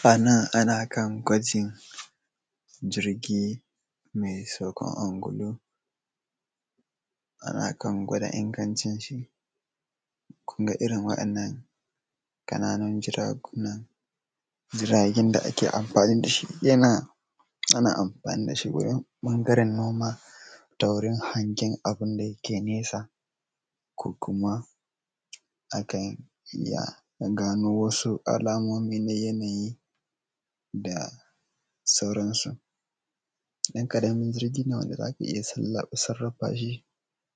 Anan nan ana kan gwajin jirgi mai saukan angulu, ana kan gwada ingancin shi. Kunga irin wa’innan kana nun juragunan, jiragen da ake amfani dashi yana, ana amfani dashi wajen ɓangaren noma da wurin hangen abinda yike nesa, ko kuma akan iya gano wasu alamomi na yanayi, da sauransu. ɗan ƙaramin jirgin nan wanda zaka iya sarrafa shi,